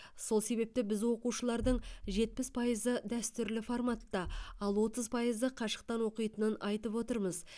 сол себепті біз оқушылардың жетпіс пайызы дәстүрлі форматта ал отыз пайызы қашықтан оқитынын айтып отырмыз